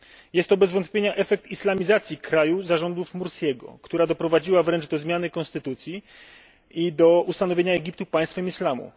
Jest to bez wątpienia efekt islamizacji kraju za rządów Mursiego, która doprowadziła wręcz do zmiany konstytucji i do ustanowienia Egiptu państwem islamu.